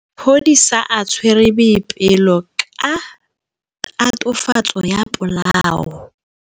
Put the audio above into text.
Maphodisa a tshwere Boipelo ka tatofatsô ya polaô.